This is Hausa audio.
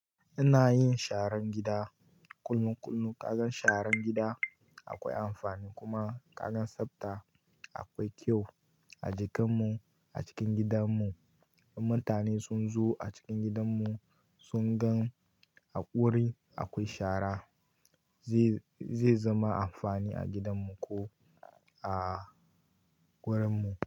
Ina yin sharan gida kullum. Ka gan sharan gida akwai amfani kuma ka gan tsafta akwai kyau a jikanmu a cikin gidanmu. In mutane sun zo a cikin gidanmu sun gan a ƙuri akwai shara zai zama amfani a gidanmu ko a gurinmu.